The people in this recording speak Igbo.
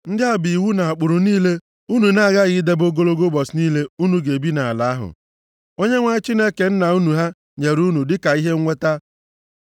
Ndị a bụ iwu na ụkpụrụ niile unu na-aghaghị idebe ogologo ụbọchị niile unu ga-ebi nʼala ahụ, Onyenwe anyị Chineke nna unu ha nyere unu, dịka ihe nweta.